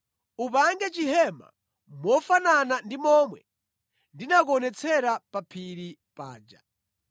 “Upange chihema mofanana ndi momwe ndinakuonetsera pa phiri paja.